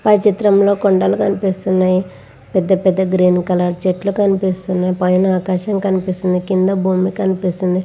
పై చిత్రం లో కొండలు కనిపిస్తున్నాయ్ పెద్ద పేద చెట్లు కనిపిస్తున్నాయ్పైన ఆకాశం కనిపిస్తుంది కింద భూమి కనిపిస్తుంది.